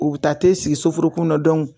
U bɛ taa te sigi soforokun na